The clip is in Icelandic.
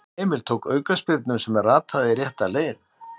Emil tók aukaspyrnu sem rataði rétta leið.